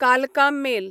कालका मेल